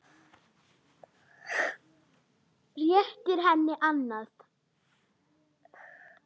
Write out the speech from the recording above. Réttir henni annað.